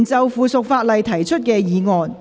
議員就附屬法例提出的議案。